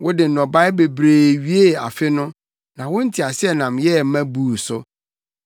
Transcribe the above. Wode nnɔbae bebree wiee afe no, na wo nteaseɛnam yɛɛ ma buu so.